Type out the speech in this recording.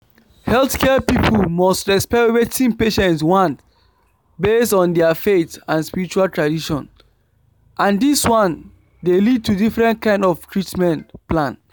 healthcare people must respect wetin patients want based on their faith and spiritual tradition and this one dey lead to different kind of treatment plan